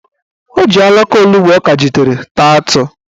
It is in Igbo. O ji alaka onugbo ọ kajitere taa atụ.